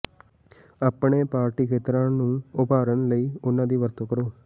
ਆਪਣੇ ਪਾਰਟੀ ਖੇਤਰ ਨੂੰ ਉਭਾਰਨ ਲਈ ਉਹਨਾਂ ਦੀ ਵਰਤੋਂ ਕਰੋ